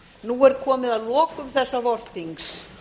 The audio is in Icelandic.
nú er komið að lokum þessa vorþings